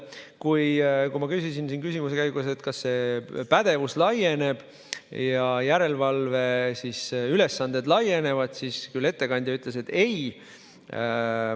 Kui ma siin küsimuste käigus küsisin, kas inspektsiooni pädevus ja järelevalvealased ülesanded laienevad, siis ettekandja ütles, et ei.